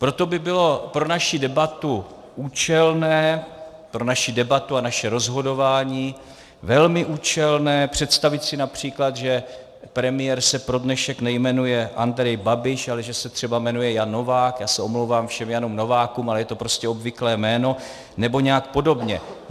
Proto by bylo pro naši debatu účelné, pro naši debatu a naše rozhodování, velmi účelné představit si například, že premiér se pro dnešek nejmenuje Andrej Babiš, ale že se třeba jmenuje Jan Novák, já se omlouvám všem Janům Novákům, ale je to prostě obvyklé jméno, nebo nějak podobně.